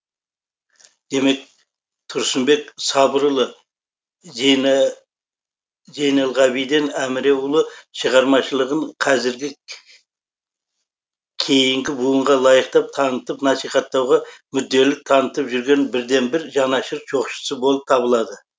демек тұрсынбек сабырұлы зейнелғабиден әміреұлы шығармашылығын қазіргі кейінгі буынға лайықты танытып насихаттауға мүдделілік танытып жүрген бірден бір жанашыр жоқшысы болып табылады